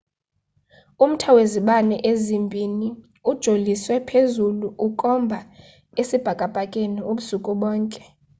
umthai wezibane ezimbiniuijoliswe phezulu ukukhomba esibhakabhakeni ubusuku bonke